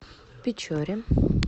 печоре